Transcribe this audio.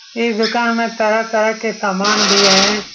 इस दुकान में तरह-तरह के समान भी हैं।